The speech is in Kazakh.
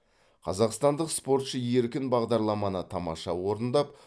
қазақстандық спортшы еркін бағдарламаны тамаша орындап